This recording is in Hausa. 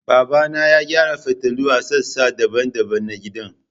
Babana ya gyara fitulu a sassa daban-daban na gidan